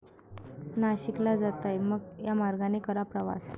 नाशिकला जाताय?, मग या मार्गाने करा प्रवास!